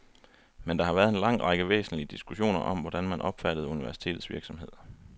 Men der har været en lang række væsentlige diskussioner om hvordan man opfattede universitetets virksomhed.